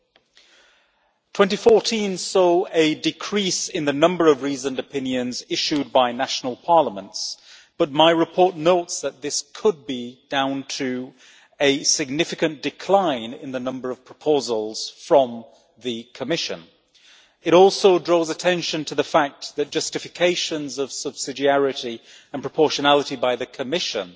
2014 saw a decrease in the number of reasoned opinions issued by national parliaments, but my report notes that this could be put down to a significant decline in the number of proposals from the Commission. It also draws attention to the fact that justifications of subsidiarity and proportionality by the Commission